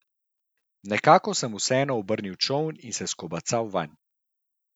Nekako sem vseeno obrnil čoln in se skobacal vanj.